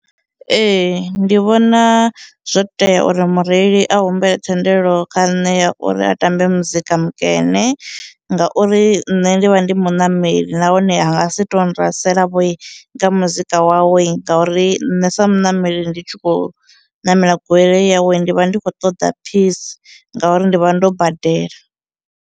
Ee, ndi vhona zwo tea uri mureili a humbela thendelo kha nṋe ya uri a tambe muzika mukene, ngauri nṋe ndi vha ndi muṋameli nahone ha ngasi tou nrasela nga muzika wawe ngauri nṋe sa muṋameli ndi tshi khou ṋamela goloi yawe ndi vha ndi khou ṱoḓa peace ngauri ndi vha ndo badela.